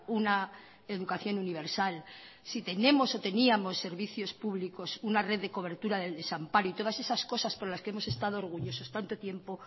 una educación universal si tenemos o teníamos servicios públicos una red de cobertura del desamparo y todas esas cosas por las que hemos estado orgullosos tanto tiempo